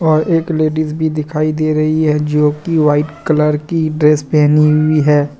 और एक लेडिस भी दिखाई दे रही है जो की वाइट कलर की ड्रेस पहनी हुई है।